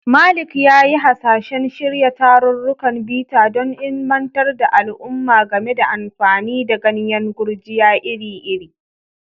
Malik ya yi hasashen shirya tarurrukan bita don ilimantar da al'umma game da amfani da ganyen gurjiya iri-iri.